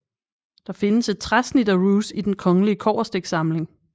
Der findes et træsnit af Roose i Den Kongelige Kobberstikssamling